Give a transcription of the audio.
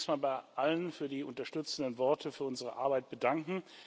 Ich darf mich zunächst mal bei allen für die unterstützenden Worte für unsere Arbeit bedanken.